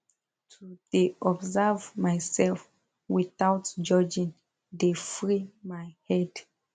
to dey observe myself wothout judging dey free my head